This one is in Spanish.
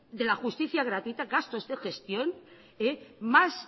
de la justicia gratuita más